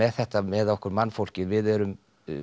þetta með okkur mannfólkið við erum